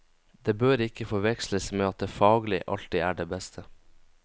Det bør ikke forveksles med at det faglig alltid er det beste.